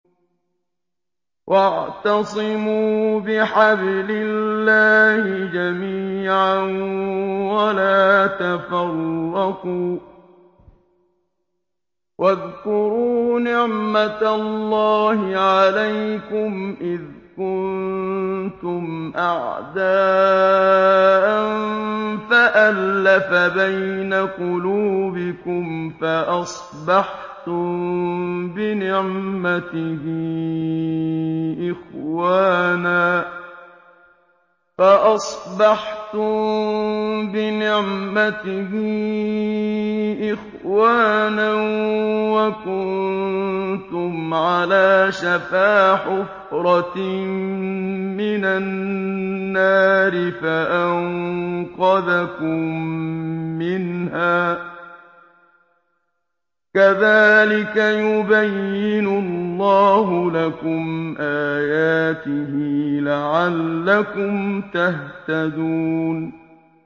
وَاعْتَصِمُوا بِحَبْلِ اللَّهِ جَمِيعًا وَلَا تَفَرَّقُوا ۚ وَاذْكُرُوا نِعْمَتَ اللَّهِ عَلَيْكُمْ إِذْ كُنتُمْ أَعْدَاءً فَأَلَّفَ بَيْنَ قُلُوبِكُمْ فَأَصْبَحْتُم بِنِعْمَتِهِ إِخْوَانًا وَكُنتُمْ عَلَىٰ شَفَا حُفْرَةٍ مِّنَ النَّارِ فَأَنقَذَكُم مِّنْهَا ۗ كَذَٰلِكَ يُبَيِّنُ اللَّهُ لَكُمْ آيَاتِهِ لَعَلَّكُمْ تَهْتَدُونَ